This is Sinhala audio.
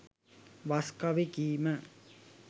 වස් කවි කීම